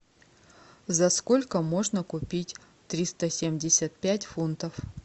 за сколько можно купить триста семьдесят пять фунтов